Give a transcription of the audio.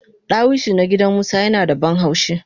Dawisu na gidan musa yinada banhaushi